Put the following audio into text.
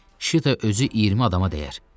Şita özü 20 adama dəyər.